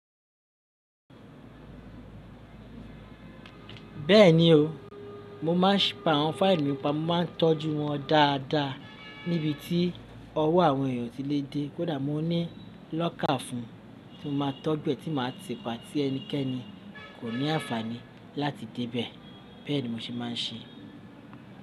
Bẹ́ẹ̀ni o, mo máa ń ṣìpá àwọn fáìlì mi pa, mo máa ń tọ́jú wọn dáadáa níbi tí ọwọ́ àwọn èèyàn ò tí lè dé. Kódà mo ní lọ́kà fún un tí mo máa ń tọ́ bí è tí màá ti pa tí ẹnikẹ́ni kò ní àǹfààní láti dé bẹ́ẹ̀, bẹ́ẹ̀ ni mo ṣe máa ń ṣe.